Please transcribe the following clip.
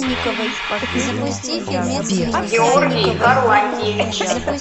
георгий харлантьевич